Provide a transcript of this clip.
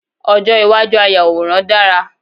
Ojo iwaju ayàwòrán dara